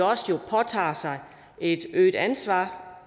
også påtager sig et øget ansvar